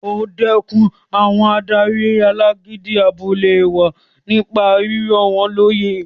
O dẹkùn àwọn adarí alágídí abúlé wa nípa rírọ̀ wọ́n lóyè